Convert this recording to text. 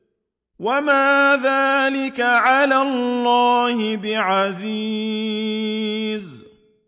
وَمَا ذَٰلِكَ عَلَى اللَّهِ بِعَزِيزٍ